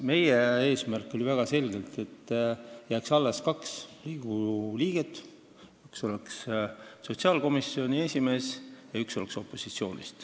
Meie eesmärk oli väga selge: et nõukogus oleks kaks Riigikogu liiget, üks oleks sotsiaalkomisjoni esimees ja teine esindaks opositsiooni.